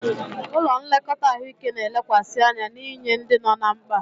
Ụlọ nlekọta ahụike na-elekwasị anya n'inye ndị nọ ná mkpa.